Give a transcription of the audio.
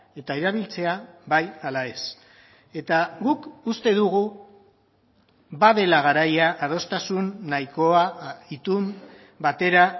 eta erabiltzea bai ala ez eta guk uste dugu badela garaia adostasun nahikoa itun batera